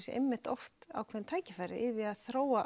séu einmitt oft ákveðin tækifæri í því að þróa